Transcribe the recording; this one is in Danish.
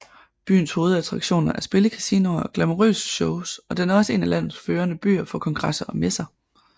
Byens hovedattraktioner er spillekasinoer og glamourøse shows og den er også en af landets førende byer for kongresser og messer